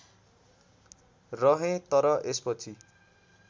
रहे तर यसपछि